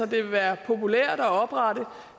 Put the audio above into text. vil være populært